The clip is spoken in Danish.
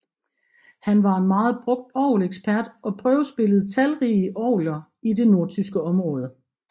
Han var en meget brugt orgelekspert og prøvespillede talrige orgeler i det nordtyske område